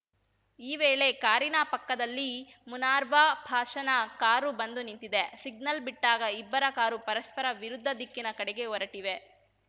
ಈ ವೇಳೆ ಕಾರಿನ ಪಕ್ಕದಲ್ಲಿ ಮುನಾರ್ವ ಪಾಷಾನ ಕಾರು ಬಂದು ನಿಂತಿದೆ ಸಿಗ್ನಲ್‌ ಬಿಟ್ಟಾಗ ಇಬ್ಬರ ಕಾರು ಪರಸ್ಪರ ವಿರುದ್ಧ ದಿಕ್ಕಿನ ಕಡೆಗೆ ಹೊರಟಿವೆ